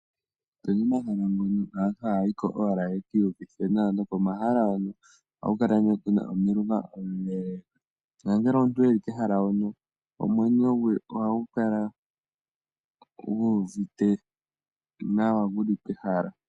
Opuna omahala ngono aantu haya yiko owala yekii uvithe nawa, nokomahala ngono ohaku kala omilunga omile, nongele omuntu e li kehala hono, omwenyo gwe ohagu kala gu uvite nawa, guli pehala.